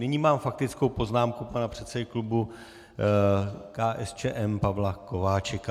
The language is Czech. Nyní mám faktickou poznámku pana předsedy klubu KSČM Pavla Kováčika.